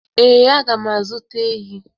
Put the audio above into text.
Ee, aga m azụta ehi.